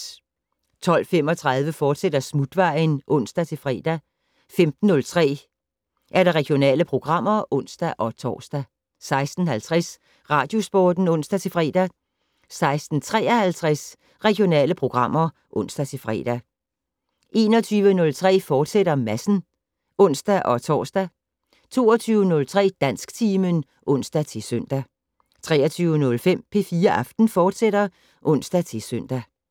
12:35: Smutvejen, fortsat (ons-fre) 15:03: Regionale programmer (ons-tor) 16:50: Radiosporten (ons-fre) 16:53: Regionale programmer (ons-fre) 21:03: Madsen *(ons-tor) 22:03: Dansktimen (ons-søn) 23:05: P4 Aften, fortsat (ons-søn)